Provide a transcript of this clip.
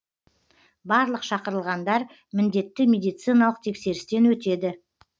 барлық шақырылғандар міндетті медициналық тексерістен өтеді